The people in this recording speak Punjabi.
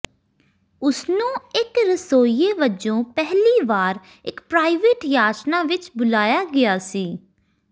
ਉਸਨੂੰ ਇੱਕ ਰਸੋਈਏ ਵਜੋਂ ਪਹਿਲੀ ਵਾਰ ਇੱਕ ਪ੍ਰਾਈਵੇਟ ਯਾਚਨਾ ਵਿੱਚ ਬੁਲਾਇਆ ਗਿਆ ਸੀ